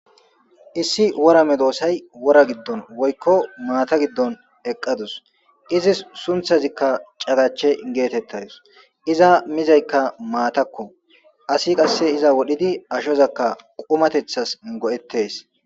Issi worame doossay wora giddon woykko maata giddon eqqadus izis sunthazikka cagache geetettadus iza mizaykka maatakko asi qasse iza wodhidi ashozakka qumatethas go'eththes.